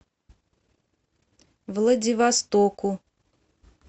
владивостоку